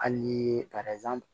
Hali ni